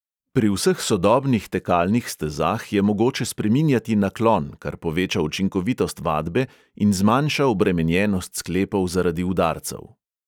Pri vseh sodobnih tekalnih stezah je mogoče spreminjati naklon, kar poveča učinkovitost vadbe in zmanjša obremenjenost sklepov zaradi udarcev.